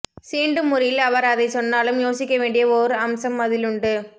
சீண்டும் முறையில் அவர் அதைச் சொன்னாலும் யோசிக்கவேண்டிய ஓர் அம்சம் அதிலுண்டு